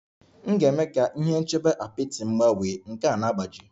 M ga-eme ka ihe nchebe apịtị m gbanwee, nke a na-agbaji